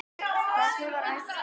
hvernig var æska hans